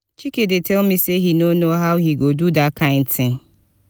chike dey tell me say he no know how he go do dat kin thing